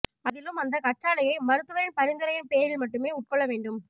அதிலும் அந்த கற்றாழையை மருத்துவரின் பரிந்துரையின் பேரில் மட்டுமே உட்கொள்ள வேண்டும்